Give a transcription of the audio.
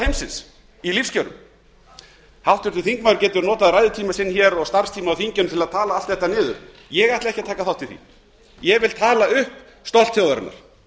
heimsins í lífskjörum háttvirtur þingmaður getur notað ræðutíma sinn hér og starfstíma á þinginu til að tala allt þetta niður ég ætla ekki að taka þátt í því ég vil tala upp stolt þjóðarinnar